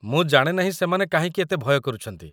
ମୁଁ ଜାଣେ ନାହିଁ ସେମାନେ କାହିଁକି ଏତେ ଭୟ କରୁଛନ୍ତି ।